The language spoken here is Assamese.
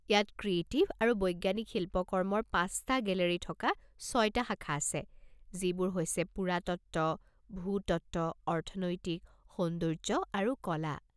ইয়াত ক্ৰিয়েটিভ আৰু বৈজ্ঞানিক শিল্প কৰ্মৰ পাঁচটা গেলেৰী থকা ছয়টা শাখা আছে, যিবোৰ হৈছে পুৰাতত্ত্ব, ভূতত্ত্ব, অৰ্থনৈতিক, সৌন্দৰ্য আৰু কলা।